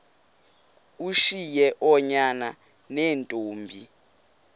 ushiye oonyana neentombi